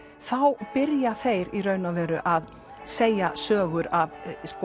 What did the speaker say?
þá byrja þeir í raun og veru að segja sögur af